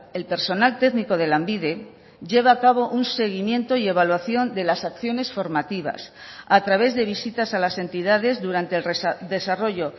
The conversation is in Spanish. el personal técnico de lanbide lleva a cabo un seguimiento y evaluación de las acciones formativas a través de visitas a las entidades durante el desarrollo